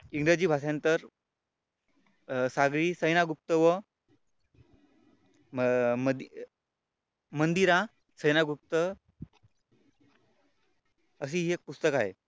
इंग्रजी भाषांतर सागरी सेना गुप्त व मंदिरा सेना गुप्त अशी एक पुस्तक आहे.